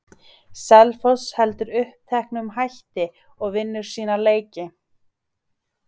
Selfoss heldur uppteknum hætti og vinnur sína leiki.